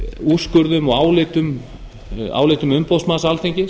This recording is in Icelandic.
úrskurðum og álitum umboðsmanns alþingis